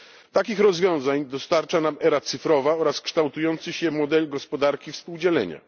Takich rozwiązań dostarcza nam era cyfrowa oraz kształtujący się model gospodarki współdzielenia.